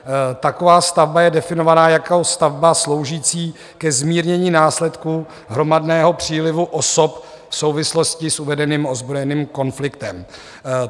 Taková stavba je definována jako stavba sloužící ke zmírnění následků hromadného přílivu osob v souvislosti s uvedeným ozbrojeným konfliktem.